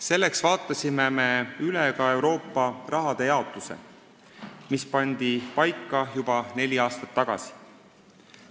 Selleks vaatasime üle ka Euroopa raha jaotuse, mis pandi paika juba neli aastat tagasi.